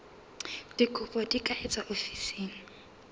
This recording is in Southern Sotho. dikopo di ka etswa ofising